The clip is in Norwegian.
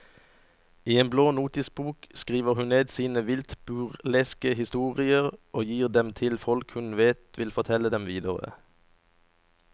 I en blå notisbok skriver hun ned sine vilt burleske historier og gir dem til folk hun vet vil fortelle dem videre.